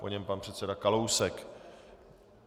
Po něm pan předseda Kalousek.